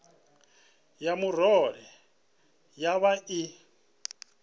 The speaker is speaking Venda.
ya murole yo vha i